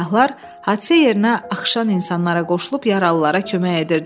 Səyahlar hadisə yerinə axışan insanlara qoşulub yaralılara kömək edirdilər.